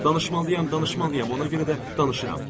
Danışmalıyım, danışmalıyım, ona görə də danışıram.